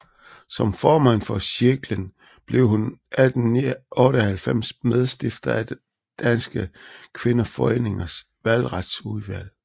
Som formand for Cirklen blev hun 1898 medstifter af Danske Kvindeforeningers Valgretsudvalg